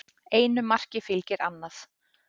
Einu marki fylgir annað